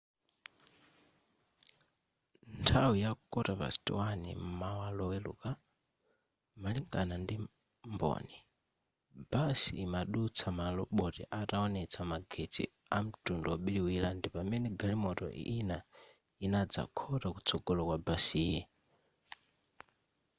nthawi ya 1:15 m'mawa loweluka malingana ndi mboni basi imadutsa maloboti ataonetsa magetsi amtundu obiriwira ndi pamene galimoto ina inadzakhota kutsogola kwa basiyi